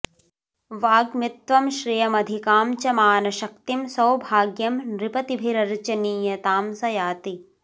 वाग्मित्वं श्रियमधिकां च मानशक्तिं सौभाग्यं नृपतिभिरर्चनीयतां स याति